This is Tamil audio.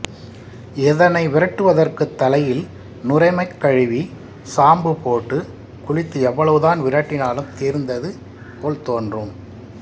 இதனை விரட்டுவதற்குத் தலையில் நுரைமக் கழுவி சாம்பு போட்டுக் குளித்து எவ்வளவுதான் விரட்டினாலும் தீர்ந்தது போல் தோன்றும்